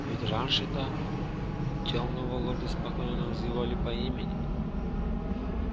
ведь раньше-то тёмного лорда спокойно называли по имени